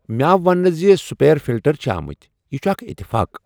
مےٚ آو ؤننہٕ زِ سپیر فلٹر چھ آمٕتۍ یہ چھ اکھ اتفاق۔